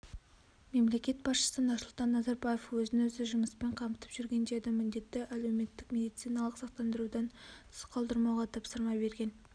мемлекет басшысы нұрсұлтан назарбаев өзін-өзі жұмыспен қамтып жүргендерді міндетті әлеуметтік медициналық сақтандырудан тыс қалдырмауға тапсырма берген